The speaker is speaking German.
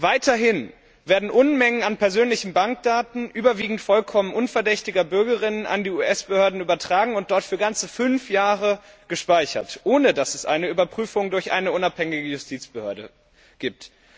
Weiterhin werden Unmengen von persönlichen Bankdaten überwiegend vollkommen unverdächtiger Bürgerinnen und Bürger an die US Behörden übertragen und dort für ganze fünf Jahre gespeichert, ohne dass es eine Überprüfung durch eine unabhängige Justizbehörde gibt.